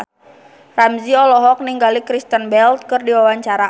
Ramzy olohok ningali Kristen Bell keur diwawancara